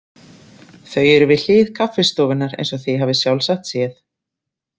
Þau eru við hlið kaffistofunnar eins og þið hafið sjálfsagt séð.